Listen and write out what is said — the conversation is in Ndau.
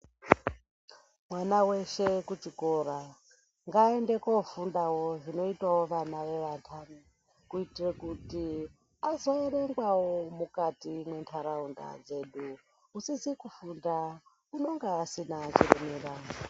Mwana weshe kuchikora, ngaaende kofundawo zvinoitawo vana vevantani, kuitire kuti azoerengwawo mukati mwentaraunda dzedu. Usizi kufunda unenga usina kumira.